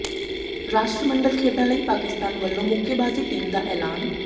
ਰਾਸ਼ਟਰਮੰਡਲ ਖੇਡਾਂ ਲਈ ਪਾਕਿਸਤਾਨ ਵੱਲੋਂ ਮੁੱਕੇਬਾਜ਼ੀ ਟੀਮ ਦਾ ਐਲਾਨ